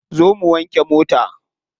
Zo mu wanke mota.